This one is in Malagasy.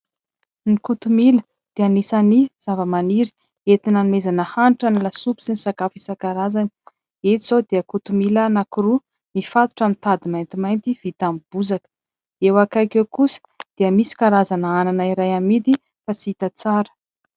Ny kotomila dia anisan'ny zavamaniry entina anomezana hanitra ny lasopy sy ny sakafo isan-karazany. Eto izao dia kotomila anankiroa mifatotra amin'ny tady maintimainty vita amin'ny bozaka. Eo akaiky eo kosa dia misy karazana anana iray amidy fa tsy hita tsara.